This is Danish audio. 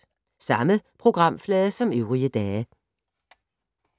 Samme programflade som øvrige dage